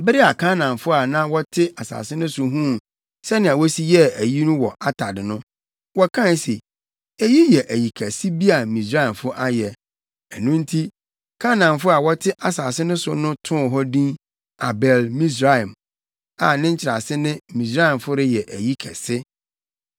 Bere a Kanaanfo a na wɔte asase no so huu sɛnea wosi yɛɛ ayi no wɔ Atad no, wɔkae se, “Eyi yɛ ayi kɛse bi a Misraimfo ayɛ.” Ɛno nti, Kanaanfo a wɔte asase no so no too hɔ din Abel-Misraim, a ne nkyerɛase ne Misraimfo reyɛ ayi kɛse.